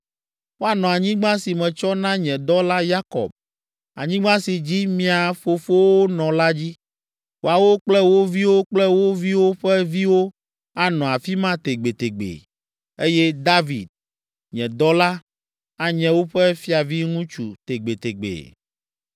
Woanɔ anyigba si metsɔ na nye dɔla Yakob, anyigba si dzi mia fofowo nɔ la dzi. Woawo kple wo viwo kple wo viwo ƒe viwo anɔ afi ma tegbetegbe, eye David, nye dɔla, anye woƒe fiaviŋutsu tegbetegbe.